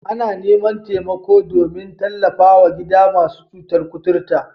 Ana neman taimako domin tallafwa gidan masu cutar kuturta.